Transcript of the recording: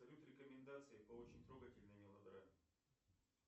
салют рекомендации по очень трогательной мелодраме